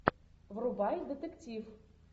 врубай детектив